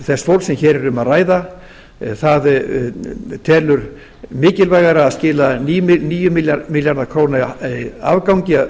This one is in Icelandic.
þess fólks sem hér er um að ræða það telur mikilvægara að skila níu milljarða króna afgangi